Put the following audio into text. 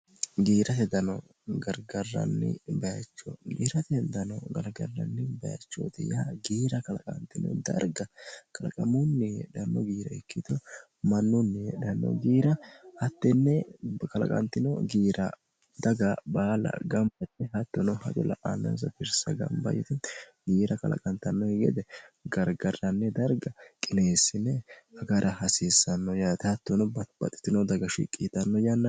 giirate dano gargarranni bayicho diiratehtano galagarranni bayichooti ya giira kalaqaantino darga kalaqamunni heedhanno giira ikkitu mannuunni heedhanno giira hattenne kalaqaantino giira daga baala gambatti hattono la"anonsa bissa giira kalaqantannoki gede gargarranni darga qineessine hagara hasiissanno yaate hattono bbaxxitino daga shiqqiixanno yannan